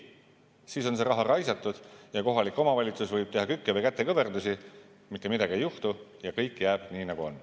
Siis on see raha raisatud ja kohalik omavalitsus võib teha kükke või kätekõverdusi, mitte midagi ei juhtu, kõik jääb nii, nagu on.